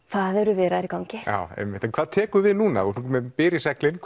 það eru viðræður í gangi já einmitt en hvað tekur við núna þú ert með byr í seglin